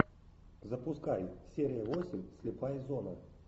запускай серия восемь слепая зона